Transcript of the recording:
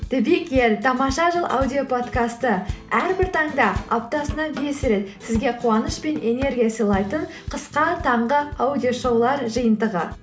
тамаша жыл аудиоподкасты әрбір таңда аптасына бес рет сізге қуаныш пен энергия сыйлайтын қысқа таңғы аудиошоулар жиынтығы